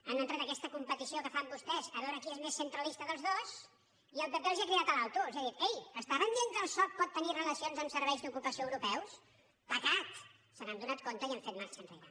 han entrat en aquesta competició que fan vostès per veure qui és més centralista dels dos i el pp els ha cridat l’alto els ha dit ei estaven dient que el soc pot tenir relacions amb serveis d’ocupació euro·peus pecat se n’han adonat i han fet marxa enrere